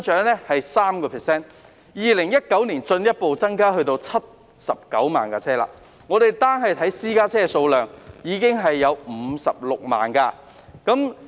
車輛數目在2019年進一步增加至79萬部，僅私家車已有56萬部。